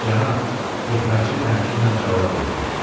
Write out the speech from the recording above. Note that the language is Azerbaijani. Cənab, xidmətçi təmkinlə cavab verdi.